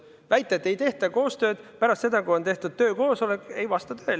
Väita, et ei tehta koostööd pärast seda, kui on tehtud töökoosolek – see ei vasta tõele.